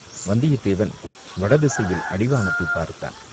வந்தியத்தேவன் வட திசையில் அடிவானத்தைப் பார்த்தான்.